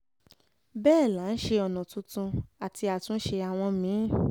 bẹ́ẹ̀ là ń ṣe ọ̀nà tuntun àti àtúnṣe àwọn mí-ín